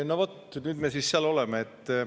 No vot, nüüd me siis seal oleme.